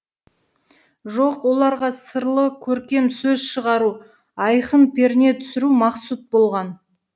жоқ оларға сырлы көркем сөз шығару айқын перне түсіру мақсұт болған